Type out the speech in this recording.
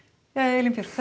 þetta